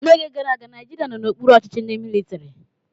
N'oge gara aga, Naijiria nọ n'okpuru ọchịchị ndị mịlịtịrị.